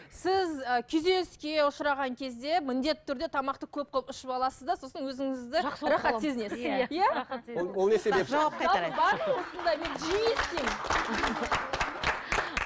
сіз і күйзеліске ұшыраған кезде міндетті түрде тамақты көп қылып ішіп аласыз да сосын өзіңізді рахат сезінесіз